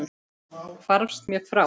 Hvarfst mér frá.